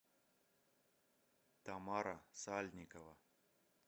тамара сальникова